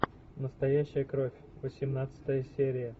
настоящая кровь восемнадцатая серия